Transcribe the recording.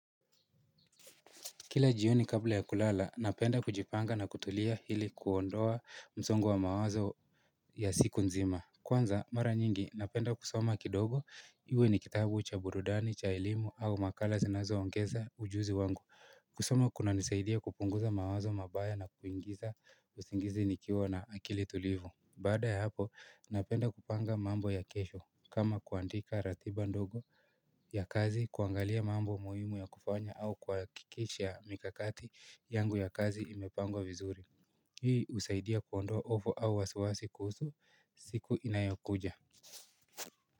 Kila jioni kabla ya kulala, napenda kujipanga na kutulia ili kuondoa msongo wa mawazo ya siku nzima. Kwanza mara nyingi napenda kusoma kidogo iwe ni kitabu cha burudani, cha elimu au makala zinazoongeza ujuzi wangu. Kusoma kunanisaidia kupunguza mawazo mabaya na kuingiza usingizi nikiwa na akili tulivu. Baada ya hapo, napenda kupanga mambo ya kesho kama kuandika ratiba ndogo. Ya kazi kuangalia mambo muhimu ya kufanya au kuhakikisha mikakati yangu ya kazi imepangwa vizuri. Hii husaidia kuondoa ofo au wasiwasi kuhusu siku inayokuja.